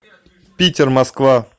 питер москва